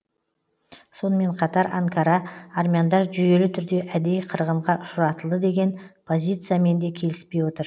сонымен қатар анкара армяндар жүйелі түрде әдейі қырғынға ұшыратылды деген позициямен де келіспей отыр